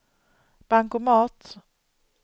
bankomat